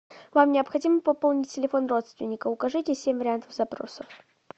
вам необходимо пополнить телефон родственника укажите семь вариантов запросов